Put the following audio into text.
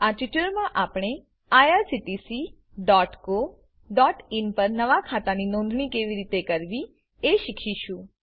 આ ટ્યુટોરીયલમાં આપણે irctccoઇન પર નવા ખાતાની નોંધણી કેવી રીતે કરવી એ શીખીશું